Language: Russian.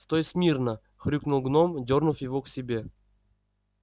стой смийно хрюкнул гном дёрнув его к себе